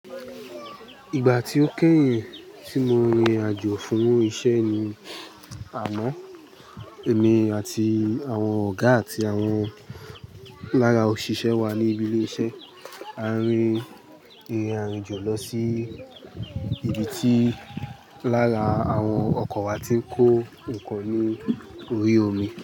Ìgbà tí ó kẹ́yìn tí mo rin ìrìn àjò fún iṣẹ́ ni àmọ́, èmi àti àwọn ọ̀gá àti àwọn lára òṣìṣẹ́ wa ní ibi ilé iṣẹ́ a rin ìrìn àjò lọ sí ibi tí lára àwọn ọkọ̀ wa ti ń kó nkan ní orí omi.